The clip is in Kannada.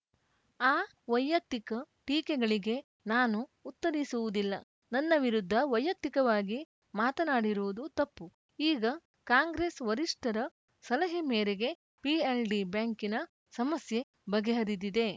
ಆ ವೈಯಕ್ತಿಕ ಟೀಕೆಗಳಿಗೆ ನಾನು ಉತ್ತರಿಸುವುದಿಲ್ಲ ನನ್ನ ವಿರುದ್ಧ ವೈಯಕ್ತಿಕವಾಗಿ ಮಾತನಾಡಿರುವುದು ತಪ್ಪು ಈಗ ಕಾಂಗ್ರೆಸ್‌ ವರಿಷ್ಠರ ಸಲಹೆ ಮೇರೆಗೆ ಪಿಎಲ್‌ಡಿ ಬ್ಯಾಂಕಿನ ಸಮಸ್ಯೆ ಬಗೆಹರಿದಿದೆ